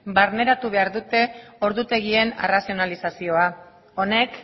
barneratu behar dute ordutegien arrazionalizazioa honek